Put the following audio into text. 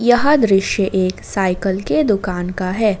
यह दृश्य एक साइकल के दुकान का है।